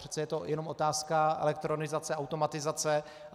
Přece je to jenom otázka elektronizace, automatizace.